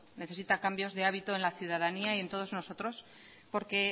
necesita cambios de hábito en la ciudadanía y en todos nosotros porque